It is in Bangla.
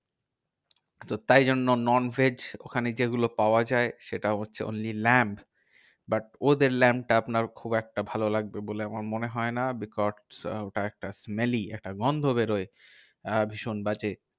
তো তাই জন্য non veg ওখানে যেগুলো পাওয়া যায় সেটা হচ্ছে, only lamb. but ওদের lamb টা আপনার খুব একটা ভালো লাগবে বলে আমার মনে হয় না। because ওটা একটা smelly একটা গন্ধ বেরহয় আহ ভীষণ বাজে।